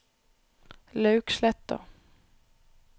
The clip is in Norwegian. Lauksletta